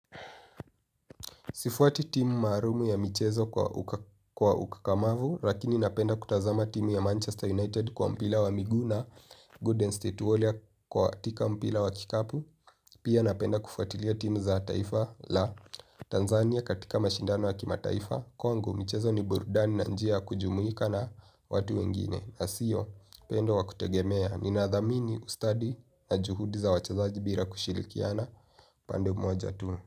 Sifuati timu maalumu ya michezo kwa ukakamavu, lakini napenda kutazama timu ya Manchester United kwa mpira wa miguu na Gooden State Warrior katika mpira wa kikapu, pia napenda kufuatilia timu za taifa la Tanzania katika mashindano wa kimataifa. Kwangu, michezo ni burudani na njia ya kujumuika na watu wengine, na sio penda wa kutegemea. Ninadhamini ustadi na juhudi za wachezaji bila kushirikiana pande mmoja tu.